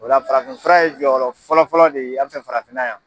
O la farafinfura ye jɔyɔrɔ fɔlɔ fɔlɔ de ye an fɛ farafinna yan.